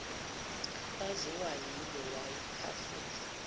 kwaziwa yibo lwayiphafuza